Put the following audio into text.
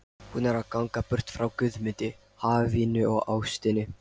Hún er að ganga burt frá Guðmundi, hafinu og ástinni.